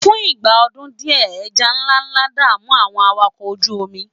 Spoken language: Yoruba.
fún ìgbà ọdún diẹ eja nlánlá da'mu àwọn awakọ oju omi